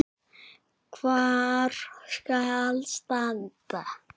Hvar skal standa?